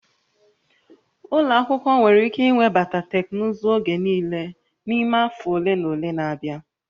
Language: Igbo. Ụlọ akwụkwọ nwere ike iwebata teknụzụ oge niile n'ime afọ ole na ole na-abịa